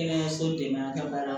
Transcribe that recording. Kɛnɛyaso dɛmɛ a ka baara la